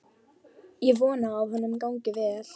Ég vona að honum gangi vel.